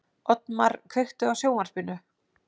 Oddmar, kveiktu á sjónvarpinu.